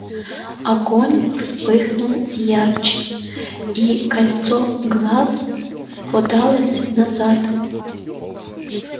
огонь вспыхнул ярче и кольцо глаз подалось назад